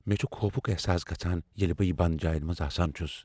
مےٚ چُھ خوفُک احساس گژھان ییلِہ بہٕ بند جاین منٛز آسان چُھس ۔